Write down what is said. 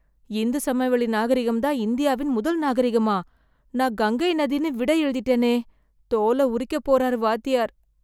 இந்து சமவெளி நாகரிகம் தான் இந்தியாவின் முதல் நாகரிகமா, நான் கங்கை நதின்னு விடை எழுதிட்டேனே, தோல உரிக்கப் போறார் வாத்தியார்.